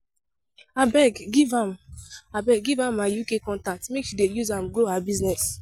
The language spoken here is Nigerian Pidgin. Abeg give am my UK contact make she use am grow her business